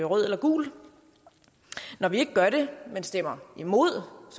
rødt eller gult når vi stemmer imod